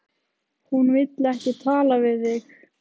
Hún vill ekki tala við þig!